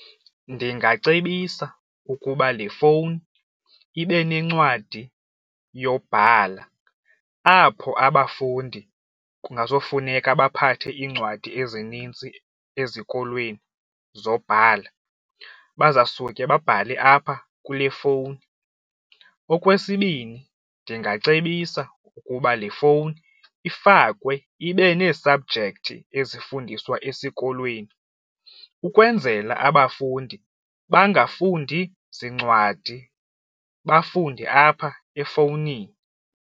Ndingacebisa ukuba le fowuni ibe nencwadi yobhala apho abafundi kungazofuneka baphathe iincwadi ezinintsi ezikolweni zobhala baza suke babhale apha kule fowuni. Okwesibini, ndingacebisa ukuba le fowuni ifakwe ibe nee-subject ezifundiswa esikolweni ukwenzela abafundi bangafundi zincwadi bafunde apha efowunini.